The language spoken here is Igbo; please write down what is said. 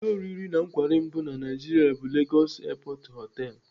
Ụlọ oriri na nkwari mbu na Naijiria bụ Lagos Airport Hotel.